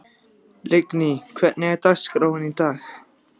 Lingný, hvernig er dagskráin í dag?